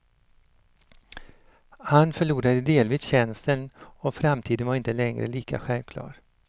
Han förlorade delvis känseln och framtiden var inte längre lika självklar.